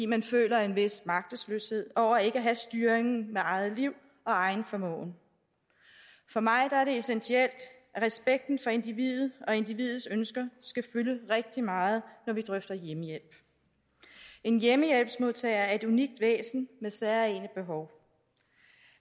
man føler en vis magtesløshed over ikke at have styringen med eget liv og egen formåen for mig er det essentielt at respekten for individet og individets ønsker skal fylde rigtig meget når vi drøfter hjemmehjælp en hjemmehjælpsmodtager er et unikt væsen med særegne behov